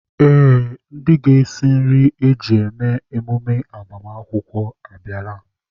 Ee, ndị ga-esi nri a ga-eji eme emume agbamakwụkwọ abịala.